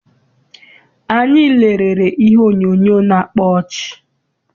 Anyị lerere ihe onyoonyo na-akpa ọchị.